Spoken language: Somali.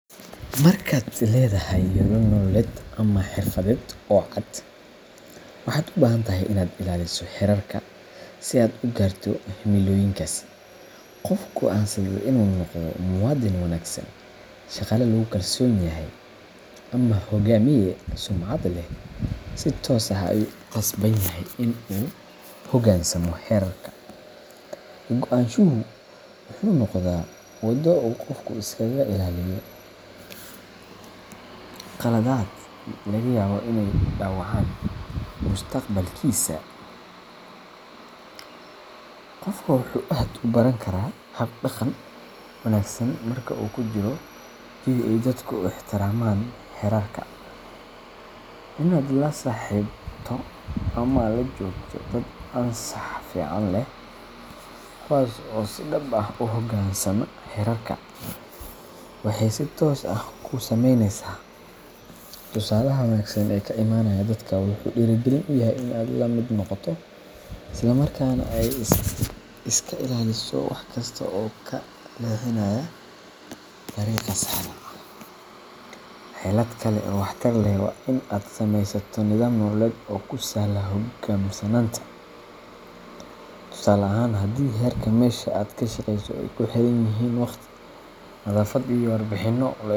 Markaad leedahay yoolal nololeed ama xirfadeed oo cad, waxaad u baahan tahay inaad ilaaliso xeerarka si aad u gaarto himilooyinkaasi. Qofka go’aansaday in uu noqdo muwaadin wanaagsan, shaqaale lagu kalsoon yahay, ama hogaamiye sumcad leh, si toos ah ayuu ugu qasban yahay in uu u hoggaansamo xeerarka. Ka-go’naanshuhu wuxuu noqdaa waddo uu qofku iskaga ilaaliyo khaladaad laga yaabo inay dhaawacaan mustaqbalkiisa. Qofku wuxuu aad u baran karaa hab-dhaqan wanaagsan marka uu ku jiro jawi ay dadku ixtiraamaan xeerarka. Inaad la saaxiibto ama la joogto dad anshax fiican leh, kuwaas oo si dhab ah u hoggaansama xeerarka, waxay si toos ah kuu saameynaysaa. Tusaalaha wanaagsan ee ka imanaya dadkaas wuxuu dhiirrigelin u yahay in aad la mid noqoto, isla markaana aad iska ilaaliso wax kasta oo kaa leexinaya dariiqa saxda ah. Xeelad kale oo waxtar leh waa in aad samaysato nidaam nololeed oo kuu sahla hoggaansanaanta. Tusaale ahaan, haddii xeerarka meesha aad ka shaqayso ay ku xiran yihiin wakhti, nadaafad, ama warbixino.